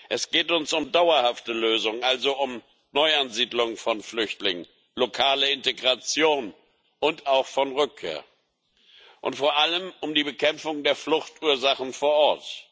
Es geht uns um dauerhafte Lösungen, also um Neuansiedlung von Flüchtlingen, lokale Integration und auch um Rückkehr und vor allem um die Bekämpfung der Fluchtursachen vor Ort.